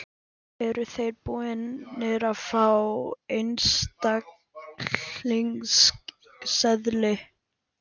Eru þeir búnir að fá einstaklingseðli?